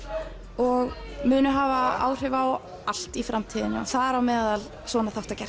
og munu hafa áhrif á allt í framtíðinni og þar á meðal svona þáttagerð